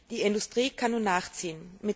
Die Industrie kann nun nachziehen.